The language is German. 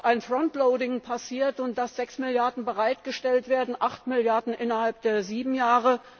ein front loading passiert und dass 6 Milliarden Euro bereitgestellt werden, 8 Milliarden innerhalb der sieben Jahre.